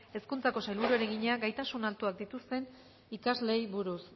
hezkuntzako sailburuari egina gaitasun altuak dituzten ikasleei buruz